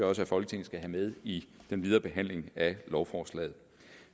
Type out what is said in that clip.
også at folketinget skal have med i den videre behandling af lovforslaget